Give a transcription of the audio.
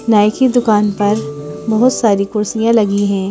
नाई की दुकान पर बहुत सारी कुर्सियां लगी हैं ।